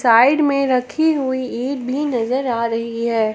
Side में रखी हुई ईट भी नजर आ रही है।